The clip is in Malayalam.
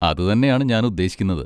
അത് തന്നെയാണ് ഞാൻ ഉദ്ദേശിക്കുന്നത്.